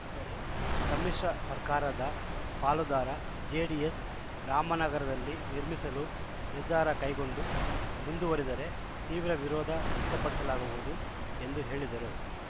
ದರೆ ಸಮ್ಮಿಶ್ರ ಸರ್ಕಾರದ ಪಾಲುದಾರ ಜೆಡಿಎಸ್‌ ರಾಮನಗರದಲ್ಲಿ ನಿರ್ಮಿಸಲು ನಿರ್ಧಾರ ಕೈಗೊಂಡು ಮುಂದುವರಿದರೆ ತೀವ್ರ ವಿರೋಧ ವ್ಯಕ್ತಪಡಿಸಲಾಗುವುದು ಎಂದು ಹೇಳಿದರು